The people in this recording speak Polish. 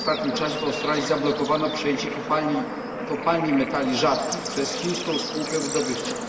W ostatnim czasie w Australii zablokowano przejęcie kopalni metali rzadkich przez chińską spółkę wydobywczą.